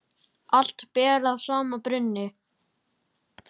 Allt ber að sama brunni.